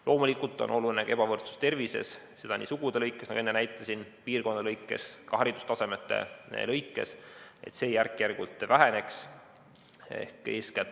Loomulikult on oluline, et ka ebavõrdsus tervises nii sugude, piirkondade kui ka haridustasemete lõikes järk-järgult väheneks.